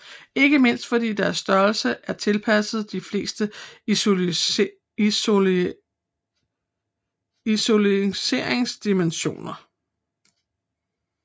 Ikke mindst fordi at deres størrelse er tilpasset de fleste isoleringsdimensioner